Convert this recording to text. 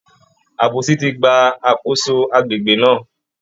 Àbòsí ti gba àkóso àgbègbè náà